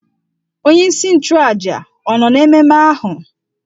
Onye isi nchụàjà ọ̀ nọ n'ememe ahụ?